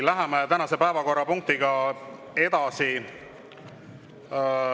Läheme tänase päevakorrapunktiga edasi.